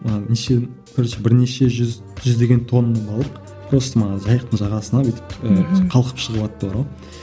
ы неше короче бірнеше жүз жүздеген тонна балық просто мына жайықтың жағасына бүйтіп і қалкып шығыватты бар ғой